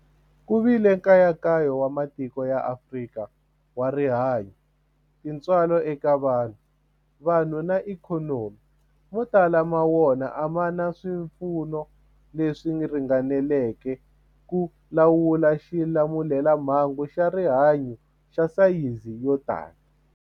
Ku vile nkayakayo wa matiko ya Afrika wa rihanyu, tintswalo eka vanhu, vanhu na ikhonomi, mo tala ma wona a ma na swipfuno leswi ringaneleke ku lawula xilamulelamhangu xa rihanyu xa sayizi yo tani.